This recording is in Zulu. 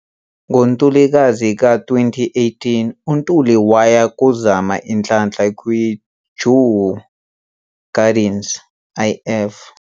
Ngo Ntulikazi ka 2018, uNtuli waya kozama inhlanhla kwi Djurgårdens IF.